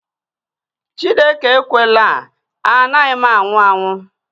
Chineke ekwela, anaghị m anwụ anwụ